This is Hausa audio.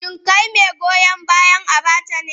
Shin kai mai goyon bayan Abacha ne?